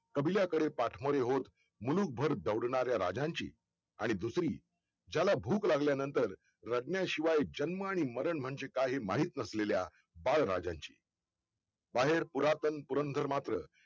कबिलाकडे पाठमोर्य होऊन मुलूकभर दौडणाऱ्या राजांची आणि दुसरी ज्याला भूक लागल्या नंतर रडल्या शिवाय जन्म आणि मरण म्हणजे काय हे माहित नसलेल्या बाळराजांची बाहेर पुरांतन पुरंदर मात्र